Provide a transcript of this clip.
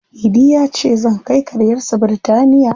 Idi ya ce, "Zan kai karyarsa Bitinariya".